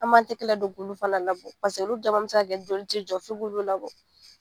An m'an tɛgɛ ladon k'olu labɔ olu caman bɛ se k'a kɛ joli ti jɔ f'i k'olu labɔ.